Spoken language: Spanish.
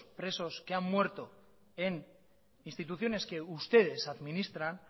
presos que han muerto en instituciones que ustedes administran